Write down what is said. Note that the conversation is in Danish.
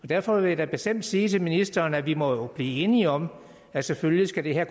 derfor vil jeg da bestemt sige til ministeren at vi jo må blive enige om at selvfølgelig skal det her